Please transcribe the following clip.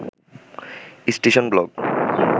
ইস্টিশন blog